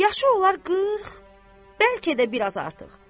Yaşı olar 40, bəlkə də biraz artıq.